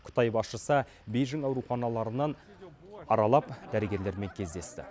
қытай басшысы бейжің ауруханаларынан аралап дәрігерлермен кездесті